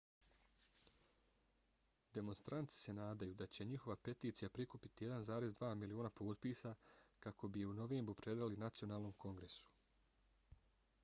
demonstranti se nadaju da će njihova peticija prikupiti 1,2 miliona potpisa kako bi je u novembru predali nacionalnom kongresu